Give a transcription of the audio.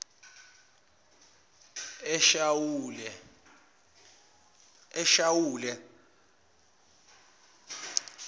eshawule